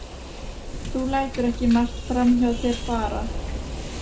Þú lætur ekki margt fram hjá þér fara.